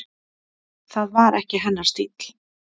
Það var ekki hennar stíll.